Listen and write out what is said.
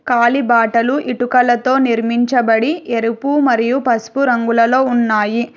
కాళీ బాటలు ఇటుకలతో నిర్మించబడి ఎరుపు మరియు పసుపు రంగులలో ఉన్నాయి.